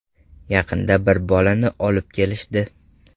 Yaqinda bir bolani olib kelishdi.